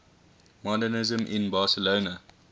modernisme in barcelona